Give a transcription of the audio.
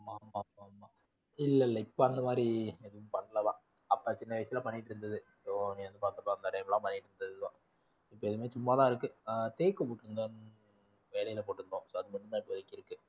இல்ல இல்ல இப்போ அந்த மாதிரி எதுவும் பண்ணலப்பா, அப்பா சின்ன வயசுல பண்ணிட்டிருந்தது. பண்ணிட்டிருந்தது தான். இப்போ எதுவுமே சும்மா தான் இருக்கு. ஆஹ் போட்டிருந்தோம் so அது மட்டும் தான் இப்போதைக்கு இருக்கு.